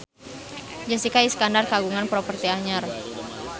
Jessica Iskandar kagungan properti anyar